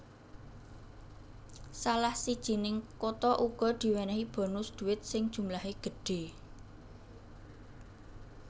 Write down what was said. Salah sijining kota uga diwènèhi bonus duit sing jumlahé gedhe